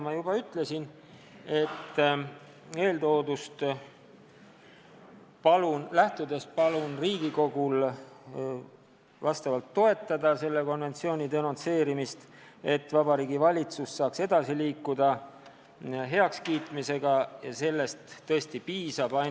Ma juba ütlesin, et eeltoodust lähtudes palun Riigikogul toetada selle konventsiooni denonsseerimist, et Vabariigi Valitsus saaks uue konventsiooni heakskiitmisel edasi liikuda.